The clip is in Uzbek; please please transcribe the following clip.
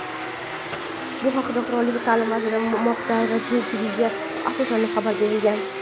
Bu haqda qirollik Ta’lim vaziri Mohda Radzi Jidinga asoslanib xabar berilgan.